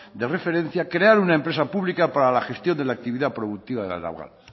de referencia crear una empresa pública para la gestión de la actividad productiva de la naval